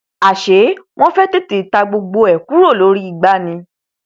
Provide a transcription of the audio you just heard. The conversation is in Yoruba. àṣé wọn fẹ tètè ta gbogbo ẹ kúrò lórí igbá ni